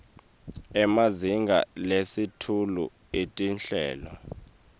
emazinga lasetulu etinhlelo